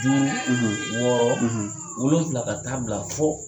Duuru, wɔɔrɔ, wolonwula ka ta'a bila fo